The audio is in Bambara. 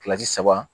Kilasi saba